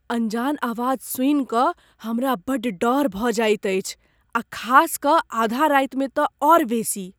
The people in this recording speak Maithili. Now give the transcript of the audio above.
अनजान आवाज सुनि कऽ हमरा बड़ डर भऽ जाइत अछि आ खास कऽ आधा रातिमे तँ आओर बेसी।